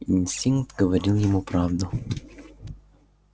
инстинкт говорил ему правду